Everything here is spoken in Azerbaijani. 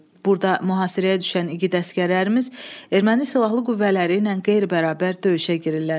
Burda mühasirəyə düşən igid əsgərlərimiz erməni silahlı qüvvələri ilə qeyri-bərabər döyüşə girirlər.